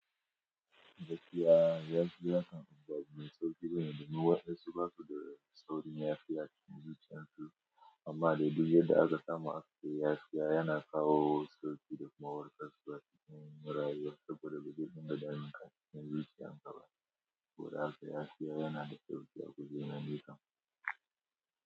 Gaskiya, yanzu yasan ba wane sauki bane domin watan suna ko da saurayin ya fi ya ci muzic yanzu amma dai duk yadda aka samu aski yashi yana kawo sauki da mawaƙa su da cikin murayi wasu koda gudu duka damu kan ci muzic yan kaba ko da aka yashi yana da sauki a gudanar da ita.